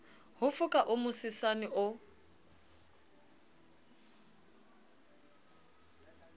ho foka o mosesane o